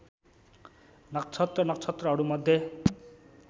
नक्षत्र नक्षत्रहरूमध्ये